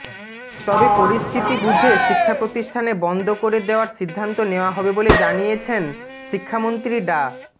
তবে পরিস্থিতি বুঝে শিক্ষাপ্রতিষ্ঠানে বন্ধ করে দেয়ার সিদ্ধান্ত নেয়া হবে বলে জানিয়েছেন শিক্ষামন্ত্রী ডা